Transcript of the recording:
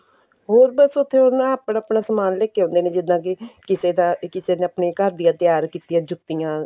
ਹੋਰ ਬੱਸ ਉੱਥੇ ਨਾ ਆਪਣਾ ਆਪਣਾ ਸਮਾਨ ਲੈ ਕੇ ਆਉਂਦੇ ਨੇ ਜਿੱਦਾਂ ਕੀ ਕਿਸੇ ਦਾ ਕਿਸੇ ਨੇ ਆਪਣੇ ਘਰ ਦੀਆਂ ਤਿਆਰ ਕੀਤੀਆਂ ਜੁੱਤੀਆਂ